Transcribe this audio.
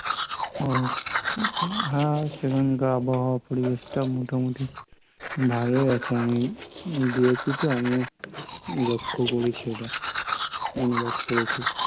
ওহ, হ্যা, সেখানকার আবহাওয়া পরিবেশটা ও মোটামুটি ভালোই আছে, আমি গিয়েছি তো, আমি লক্ষ্য করেছি ওটা, অনুভব করেছি